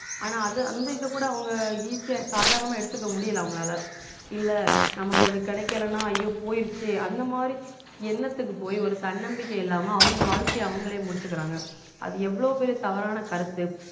ஆனா அது அந்த இத கூட அவங்க easy யா சாதாரணமா எடுத்துக்க முடியல அவங்களால இல்ல நமக்கு ஒண்ணு கிடைக்கலன்னா ஐயோ போயிருச்சே அந்த மாதிரி எண்ணத்துக்கு போய் ஒரு தன்னம்பிக்கை இல்லாம அவங்க வாழ்க்கைய அவங்களே முடிச்சுக்கறாங்க அது எவ்வளவு பெரிய தவறான கருத்து